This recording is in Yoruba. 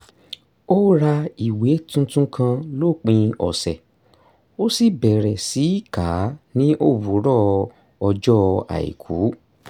ó ra ìwé tuntun kan lópin ọ̀sẹ̀ ó sì bẹ̀rẹ̀ sí í kà á ní òwúrọ̀ ọjọ́ àìkú